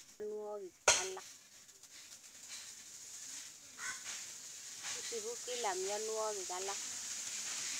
Isibu kila mionwokik alak